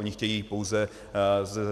Oni chtějí pouze